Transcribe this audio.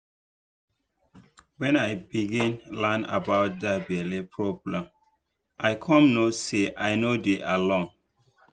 when i begin learn about that belle problem i come know say i no dey alone